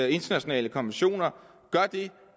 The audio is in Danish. internationale konventioner gør det